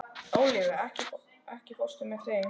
Ólafía, ekki fórstu með þeim?